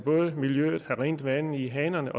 miljøet have rent vand i hanerne